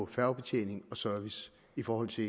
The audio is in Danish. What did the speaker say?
færgebetjening og service i forhold til